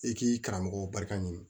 I k'i karamɔgɔw barika ɲini